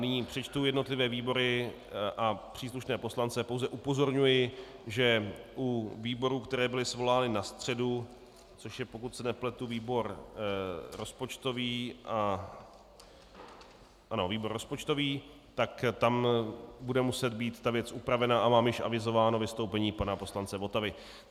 Nyní přečtu jednotlivé výbory a příslušné poslance, pouze upozorňuji, že u výborů, které byly svolány na středu, což je, pokud se nepletu, výbor rozpočtový, tak tam bude muset být ta věc upravena a mám již avizováno vystoupení pana poslance Votavy.